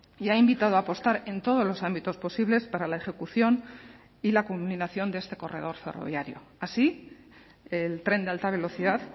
y ha invitado a apostar en todos los ámbitos posibles para la ejecución y la culminación de este corredor ferroviario así el tren de alta velocidad